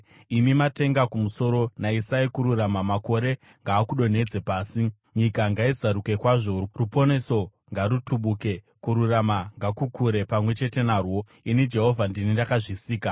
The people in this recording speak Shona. “Imi matenga kumusoro, nayisai kururama; makore ngaakudonhedze pasi. Nyika ngaizaruke kwazvo, ruponeso ngarutubuke, kururama ngakukure pamwe chete narwo; ini Jehovha, ndini ndakazvisika.